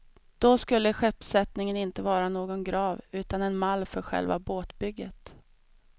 Då skulle skeppssättningen inte vara någon grav utan en mall för själva båtbygget.